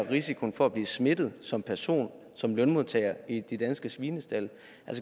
risikoen for at blive smittet som person som lønmodtager minimeres i de danske svinestalde